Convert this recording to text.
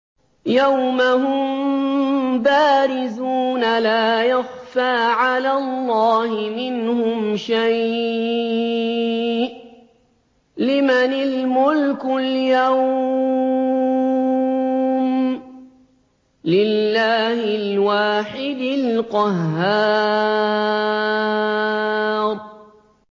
يَوْمَ هُم بَارِزُونَ ۖ لَا يَخْفَىٰ عَلَى اللَّهِ مِنْهُمْ شَيْءٌ ۚ لِّمَنِ الْمُلْكُ الْيَوْمَ ۖ لِلَّهِ الْوَاحِدِ الْقَهَّارِ